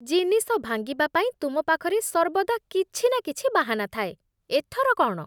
ଜିନିଷ ଭାଙ୍ଗିବା ପାଇଁ ତୁମ ପାଖରେ ସର୍ବଦା କିଛି ନା କିଛି ବାହାନା ଥାଏ। ଏଥର କ'ଣ?